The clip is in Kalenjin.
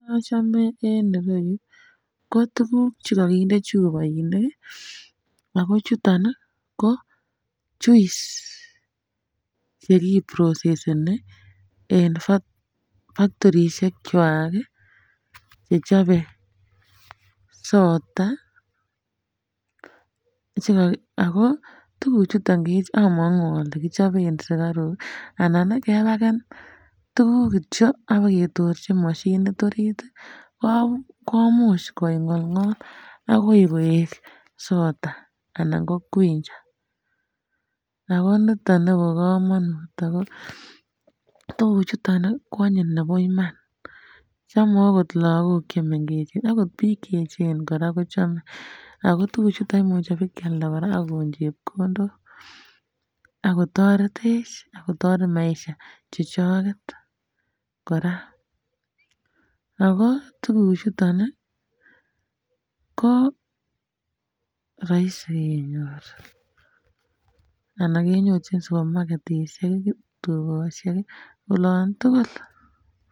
Kin nochome en irou ko tuguk che kakinde chupoinik ago chuton ko juice cheki proseseni fak faktorishechwak chechobe sota um ago tuguk chuton um amangu ale kichoben sikaruk anan kepaken tuguk kityo ak biketorchi mashinit orit komuch kongolngol agoi koek sota anan ko quencher ago niton nebokomonut ago tuguk chuton koanyin nebo Iman chome okot lagok chemengech okot biik che echen koraa kochome ago tuguk chuton komuche bikealda koraa kokon chepkondok ago toretech ,ago toret maisha chechoket koraa ago tuguk chuton ko rahisi kenyor anan kenyorchin supamaketishek, tukoshek oloon tugul.